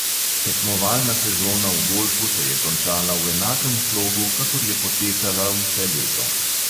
Tekmovalna sezona v golfu se je končala v enakem slogu, kakor je potekala vse leto.